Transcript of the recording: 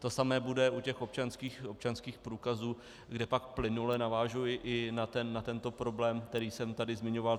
To samé bude u těch občanských průkazů, kde pak plynule navážu i na tento problém, který jsem tady zmiňoval.